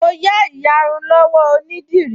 Mo yá ìyarun lọ́wọ́ onídìrí